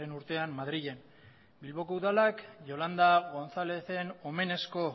urtean madrilen bilboko udalak yolanda gonzalezen omenezko